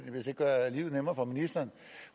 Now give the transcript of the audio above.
hvis det gør livet nemmere for ministeren